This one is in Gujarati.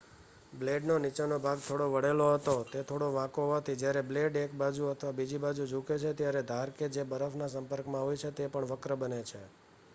બ્લેડનો નીચેનો ભાગ થોડો વળેલો હતો તે થોડો વાંકો હોવાથી જયારે બ્લેડ એક બાજુ અથવા બીજી બાજુ ઝૂકે છે ત્યારે ધાર કે જે બરફના સંપર્કમાં હોય છે તે પણ વક્ર બને છે